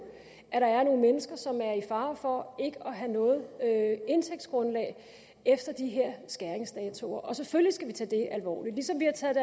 at der er nogle mennesker som er i fare for ikke have noget indtægtsgrundlag efter de her skæringsdatoer og selvfølgelig skal vi tage det alvorligt ligesom vi har taget